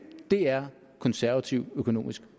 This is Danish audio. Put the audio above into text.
det er konservativ økonomisk